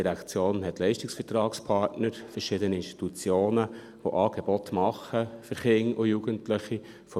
Die GEF hat Leistungsvertragspartner, verschiedene Institutionen, die Angebote für Kinder und Jugendliche machen;